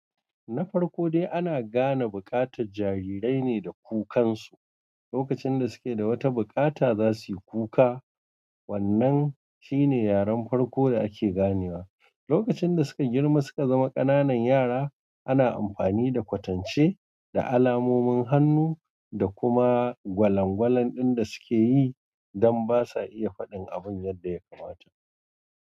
Na farko dai ana gane buƙatar jarirai ne da kukansu. Lokacin da suke da wata bukata za su yi kuka wannan shine yaren farko da ake ganewa. Lokacin da suka girma suka zama ƙananan yara ana amfani da kwatance da alamomin hannu da kuma gwalangwalan ɗin da suke yi don basa iya faɗin abun yadda ya kamata.